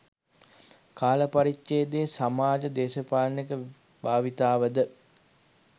කාල පරිච්ජේදයේ සමාජ දේශපාලනික භාවිතාව ද